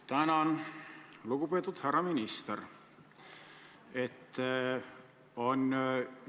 Tänan, lugupeetud härra minister!